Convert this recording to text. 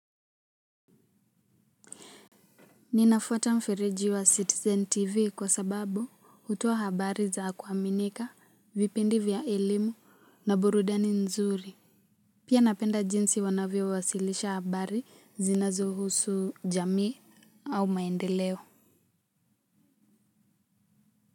Ninafuata mfereji wa Citizen TV kwa sababu hutoa habari za kuaminika, vipindi vya elimu na burudani nzuri. Pia napenda jinsi wanavyowasilisha habari zinazohusu jamii au maendeleo.